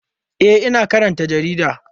E, ina karanta jarida.